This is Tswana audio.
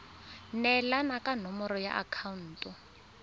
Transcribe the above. neelana ka nomoro ya akhaonto